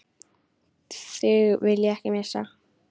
Þig vil ég ekki missa.